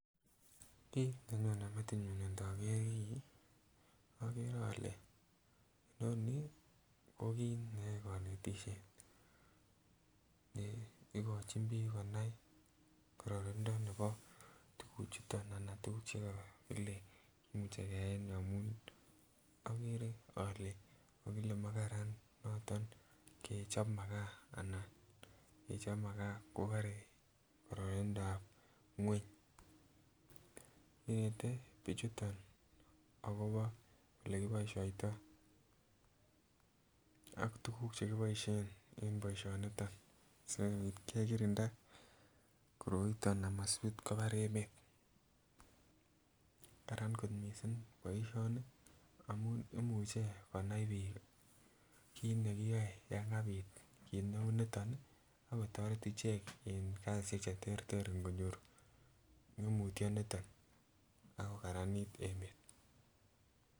Kit nenyone metinyun ndoker kii okere ole nonii ko kit nebo konetishet ne ikochi bik konai kororonindo nebo tukuk chuton anan tukuk chekokile kimuche keyai en yuton amun okere ole kokile makaran noton kechob makaa anan kechob makaa kobore kororonindap ngweny. Inente bichutok akobo ole kiboishoito ak tukuk chekiboishen en boishoniton sikopit kekirinda koroiton amasipit kobar emet, Karan kot missing boishoni amun imuche kunai bik kit nekiyoe yon kabit kit neu niton nii akotoret ichek en kosishek cheterter nkonyor ngemutyo niton ako karanit emet.